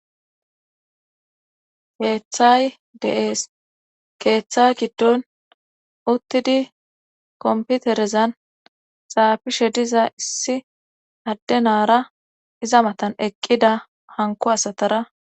keeththay deees keeththa giddon uttidi komputerezan xaafishe diza issi adde naara iza matan eqqida hanku asatara